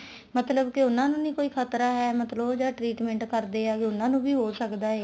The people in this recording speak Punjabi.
ਮਤਲਬ ਕੇ ਉਹਨਾ ਨੂੰ ਨੀ ਕੋਈ ਖਤਰਾ ਹੈ ਮਤਲਬ ਉਹ ਜਿਹੜਾ treatment ਕਰਦੇ ਆ ਉਹਨਾ ਨੂੰ ਵੀ ਹੋ ਸਕਦਾ ਹੈ